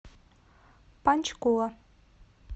панчкула